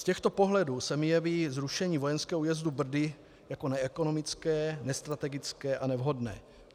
Z těchto pohledů se mi jeví zrušení vojenského újezdu Brdy jako neekonomické, nestrategické a nevhodné.